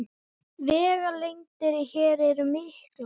Vegalengdir hér eru miklar